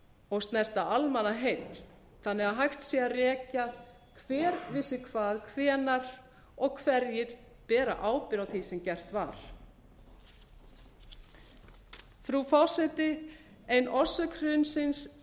og snerta almannaheill þannig að hægt sé að rekja hver vissi hvað hvenær og hverjir bera bera ábyrgð á því sem gert var frú forseti ein orsök hrunsins